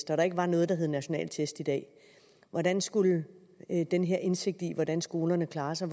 der ikke var noget der hed nationale test i dag hvordan skulle den her indsigt i hvordan skolerne klarer sig